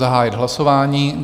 Zahajuji hlasování.